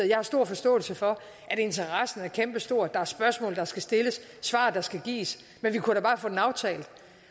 jeg har stor forståelse for at interessen er kæmpestor der er spørgsmål der skal stilles svar der skal gives men vi kunne da bare få den aftalt